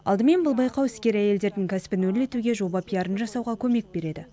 алдымен бұл байқау іскер әйелдердің кәсібін өрлетуге жоба пиарын жасауға көмек береді